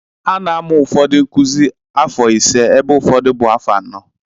Ana-amụ ụfọdụ nkuzi afọ ise ebe ụfọdụ bụ afọ anọ